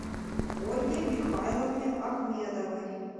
ольге михайловне ахмедовой